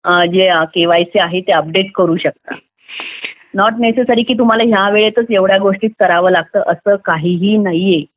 जे केवायसी आहे ते अपडेट करू शकता नॉट नेसेसरी की तुम्हाला या वेळेतच एवढ्या गोष्टी कराव्या लागतील असं काहीही नाहीये